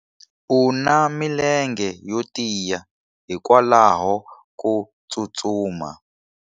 U na milenge yo tiya hikwalaho ko tsustuma.